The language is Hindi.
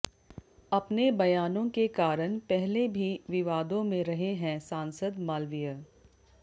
अपने बयानों के कारण पहले भी विवादों में रहे हैं सांसद मालवीय